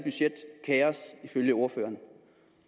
ifølge ordføreren